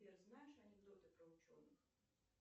сбер знаешь анекдоты про ученых